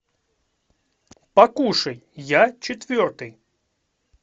покушай я четвертый